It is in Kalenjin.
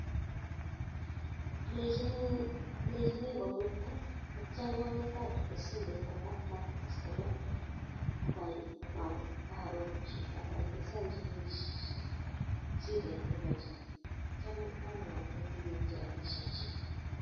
Alechinii komuita atya apirte simet kwa customer care akaelenzanjii shidet nepo chito atya amwate kewekchi rapishiek chiik